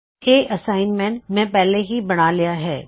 ਇਹ ਅਸਾਇਨਮੈਂਟ ਮੈਂ ਪਹਿਲਾਂ ਹੀ ਬਣਾ ਲਿਆ ਹੈ